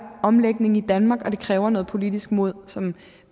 omlægning i danmark og det kræver noget politisk mod som